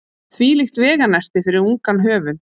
Þvílíkt veganesti fyrir ungan höfund.